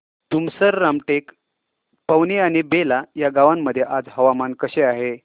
तुमसर रामटेक पवनी आणि बेला या गावांमध्ये आज हवामान कसे आहे